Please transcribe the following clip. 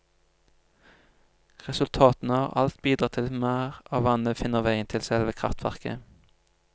Resultatene har alt bidratt til at mer av vannet finner veien til selve kreftverket.